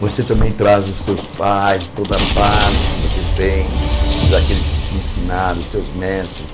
Você também traz os seus pais, toda a base que você tem, daqueles que te ensinaram, os seus mestres.